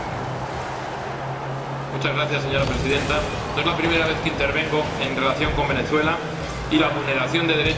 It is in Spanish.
Señora Presidenta, no es la primera vez que intervengo en relación con Venezuela y la vulneración de derechos que en este hermoso país se produce.